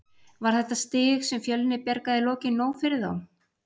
Var þetta stig sem Fjölnir bjargaði í lokin nóg fyrir þá?